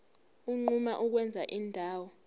unquma ukwenza indawo